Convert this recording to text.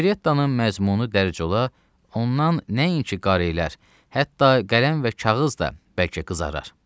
Operettanın məzmunu dərc ola, ondan nəinki qarelər, hətta qələm və kağız da bəlkə qızarar.